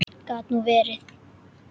Gat nú verið!